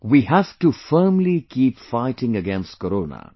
We have to firmly keep fighting against Corona